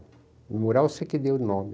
Memorial, sei que dei o nome.